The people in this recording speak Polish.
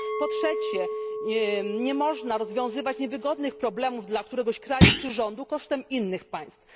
Po trzecie, nie można rozwiązywać niewygodnych problemów dla któregoś kraju czy rządu kosztem innych państw.